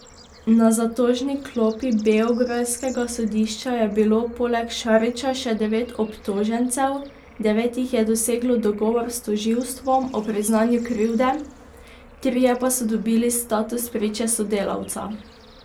Na zatožni klopi beograjskega sodišča je bilo poleg Šarića še devet obtožencev, devet jih je doseglo dogovor s tožilstvom o priznanju krivde, trije pa so dobili status priče sodelavca.